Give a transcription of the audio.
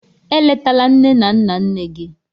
Eletala nne na nna nne gị!